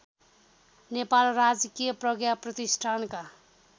नेपाल राजकीय प्रज्ञाप्रतिष्ठानका